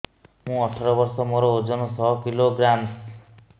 ମୁଁ ଅଠର ବର୍ଷ ମୋର ଓଜନ ଶହ କିଲୋଗ୍ରାମସ